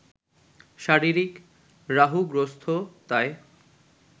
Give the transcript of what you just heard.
শারীরিক রাহুগ্রস্ততায়